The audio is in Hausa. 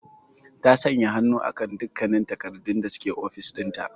Eh, ta sanya hannu akan dukkannin takardun da suke ofis dinta.